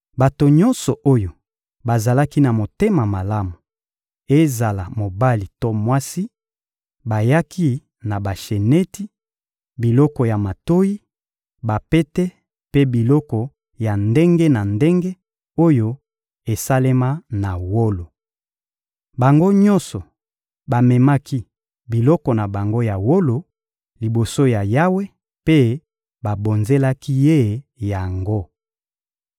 Bato nyonso oyo bazalaki na motema malamu, ezala mobali to mwasi, bayaki na basheneti, biloko ya matoyi, bapete mpe biloko ya ndenge na ndenge oyo esalema na wolo. Bango nyonso bamemaki biloko na bango ya wolo liboso ya Yawe mpe babonzelaki Ye yango.